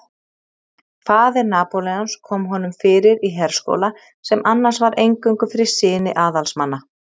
Faðir Napóleons kom honum fyrir í herskóla sem annars var eingöngu fyrir syni aðalsmanna.